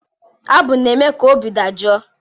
Abụ na-eme ka obi dajụọ.